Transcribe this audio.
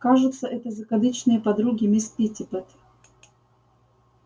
кажется это закадычные подруги мисс питтипэт